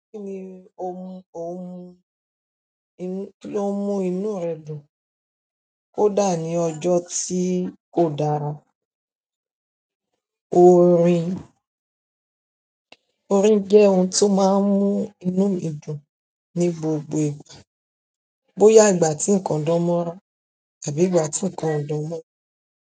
Kíni oun mú inú rẹ dùn kódà ní ọjọ tí kò dára. Orin, orin jẹ́ ohun tó máa ń mú inú mi dùn ní gbogbo ìgbà. Bóyá ìgbà tí nǹkan dán mọnran àbí ìgbà tí nǹkan ò dán mọnran.